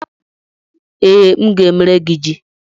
Ee, m ga-emere gị yam.